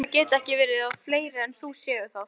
Heldurðu að það geti ekki verið að fleiri en þú séu það?